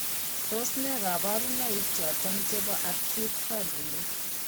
Tos nee kabarunaik choton chebo Acute febrile